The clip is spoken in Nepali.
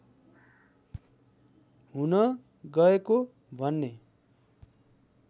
हुन गएको भन्ने